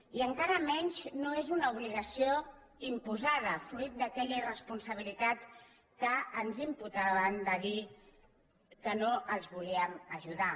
i encara menys no és una obligació imposada fruit d’aquella irresponsabilitat que ens imputaven de dir que no els volíem ajudar